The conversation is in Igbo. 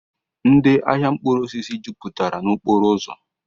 Ndị ahịa mkpụrụosisi jupụtara n'okporoụzọ